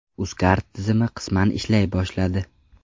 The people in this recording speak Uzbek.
Uzcard tizimi qisman ishlay boshladi.